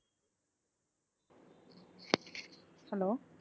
hello